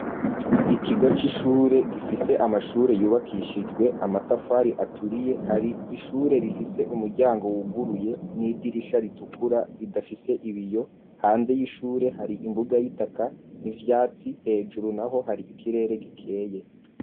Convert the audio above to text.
ikigo c'ishure gifise amashure yubakishijwe amatafari aturiye hari ishure rifise umuryango wuguruye n'idirisha ritukura ridafise ibiyo hanze y'ishure hari imbuga y'itaka n'ivyatsi hejuru naho hari ikirere gikeye.